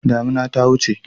Damuna ta wuce.